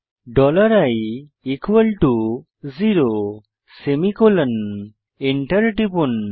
dollar i zero semicolon enter টিপুন